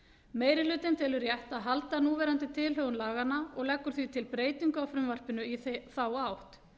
meiri hlutinn telur rétt að halda núverandi tilhögun laganna og leggur því til breytingu á frumvarpinu í þá átt